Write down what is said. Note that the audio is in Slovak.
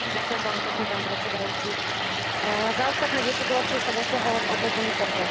Za ostatné desaťročie sa dosiahol len obmedzený pokrok v oblasti účasti žien vo verejnej správe.